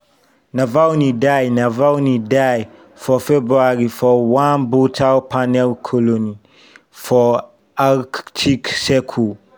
navalny die navalny die for february for one brutal penal colony for arctic circle.